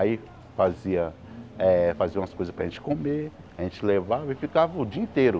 Aí fazia eh fazia umas coisas para a gente comer, a gente levava e ficava o dia inteiro.